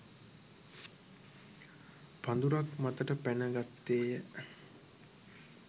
පඳුරක් මතට පැන ගත්තේය